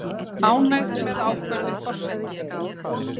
Ánægð með ákvörðun forseta